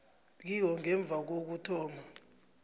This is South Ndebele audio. kiwo ngemva kokuthoma